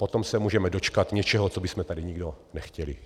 Potom se můžeme dočkat něčeho, co bychom tady nikdo nechtěli.